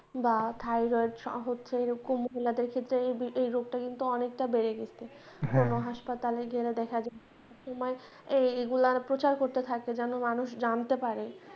বা thyroid হচ্ছে এরকম দের ক্ষেত্রে এই রোগটা কিন্তু অনেকটা বেড়ে গেছে কোনো হাসপাতালে গেলে দেখা যায় তোমার এইগুলার প্রচার করতে থাকবে যেন মানুষ জানতে পারে।